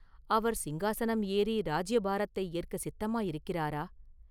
அவர் சிங்காசனம் ஏறி ராஜ்யபாரத்தை ஏற்கச் சித்தமாயிருக்கிறாரா?